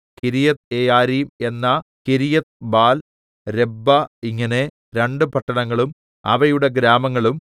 കിര്യത്ത്യെയാരീം എന്ന കിര്യത്ത്ബാൽ രബ്ബ ഇങ്ങനെ രണ്ടു പട്ടണങ്ങളും അവയുടെ ഗ്രാമങ്ങളും